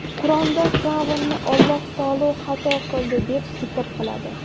Qur’onda Fir’avnni Alloh taolo xato qildi, deb zikr qiladi.